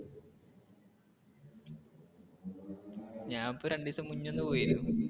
ഞാൻ ഇപ്പൊ രണ്ടുദിവസം മുന്നേ ഒന്ന് പോയിരുന്നു.